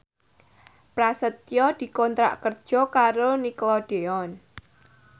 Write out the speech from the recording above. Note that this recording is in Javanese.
Prasetyo dikontrak kerja karo Nickelodeon